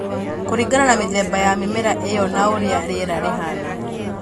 Kũringana na mĩthemba ya mĩmera ĩyo na ũrĩa rĩera rĩhaana.